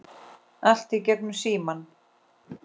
Allt í gegnum síma.